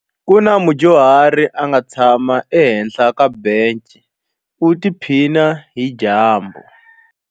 Ku na mudyuhari a nga tshama ehenhla ka bence u tiphina hi dyambu.